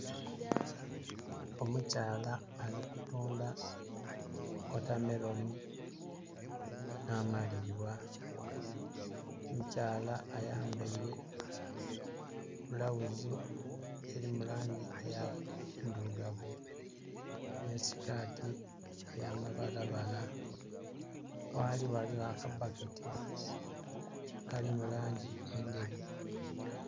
Omukyala ali kutundha wotameloni nh'amalibwa. Omukyala ayambaile bulawuzi eli mu langi endhilugavu nh'esikaati ey'amabalabala. Ghaali, ghaligho aka baketi akali mu langi endheru.